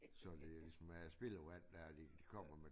Så det ligesom er spildevand der de kommer med